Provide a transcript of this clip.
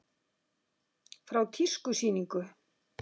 Frá tískusýningu.